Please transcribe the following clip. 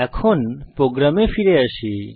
এখন আমাদের প্রোগ্রামে ফিরে আসি